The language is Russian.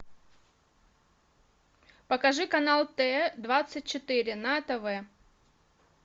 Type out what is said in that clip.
покажи канал т двадцать четыре на тв